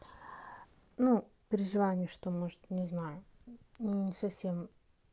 ну переживание что может не знаю не совсем